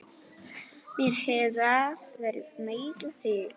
Mér hefur alltaf verið meinilla við þá.